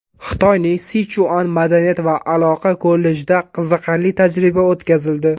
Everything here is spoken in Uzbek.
Xitoyning Sichuan madaniyat va aloqa kollejida qiziqarli tajriba o‘tkazildi.